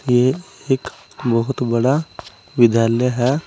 ये एक बहोत बड़ा विद्यालय है।